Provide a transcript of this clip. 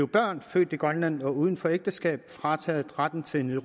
børn født i grønland uden for ægteskab frataget retten til en